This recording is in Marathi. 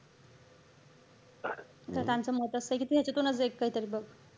तर त्यांचं मत असंय कि ह्याचातूनच एक काहीतरी बघ.